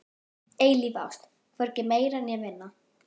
Eilíf ást, hvorki meira né minna.